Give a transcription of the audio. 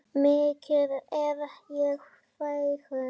Mikið er ég fegin.